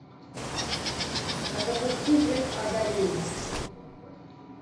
а запусти век адалин